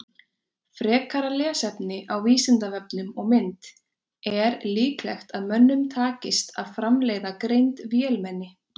Frekara lesefni á Vísindavefnum og mynd Er líklegt að mönnum takist að framleiða greind vélmenni?